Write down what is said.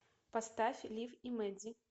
поставь лив и меди